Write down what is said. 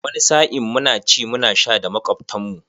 Wani sa'in muna ci muna sha da makwabtan mu.